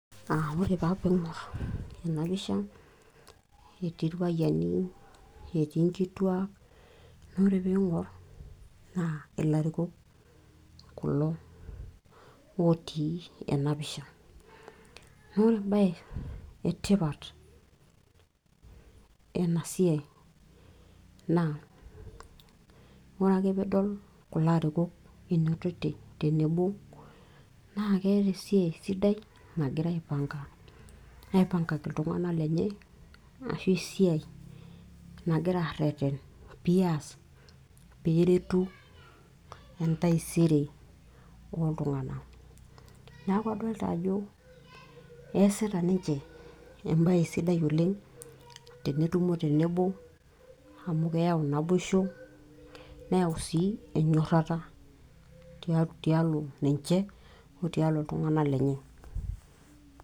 ore taa tena pisha netii irpayiani netii nkituak naa ore pee ing'or naa ilarikok kulo otii ena pisha ore embaye etipat enasia naa ore ake peeidol ilarikok otii tenebo naa keeta esiai sidai nagira aipankaki iltunganak lenye peeretu entaisere ooltunganak neeku adolita ajo esita ninche embaye sidai oleng tenetumo tenebo naa keyau naboisho tialo ninche otialo iltunganak lenye.